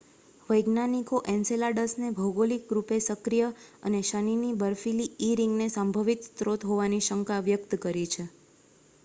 વૈજ્ઞાનિકો એન્સેલાડસને ભૌગોલિક રૂપે સક્રિય અને શનિની બર્ફીલી ઇ રીંગને સંભવિત સ્રોત હોવાની શંકા વ્યક્ત કરી છે